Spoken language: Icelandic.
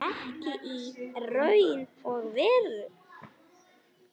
Ekki í raun og veru.